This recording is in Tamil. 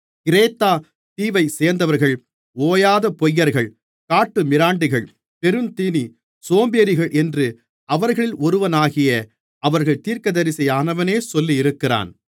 கிரேத்தா தீவைச்சேர்ந்தவர்கள் ஓயாத பொய்யர்கள் காட்டுமிராண்டிகள் பெருந்தீனிச் சோம்பேறிகள் என்று அவர்களில் ஒருவனாகிய அவர்கள் தீர்க்கதரிசியானவனே சொல்லியிருக்கிறான்